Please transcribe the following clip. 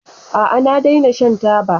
A'a, na daina shan taba.